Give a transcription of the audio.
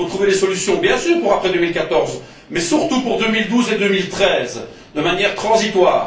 Il faut trouver les solutions, bien sûr, pour après 2014, mais surtout pour 2012 et 2013, de manière transitoire.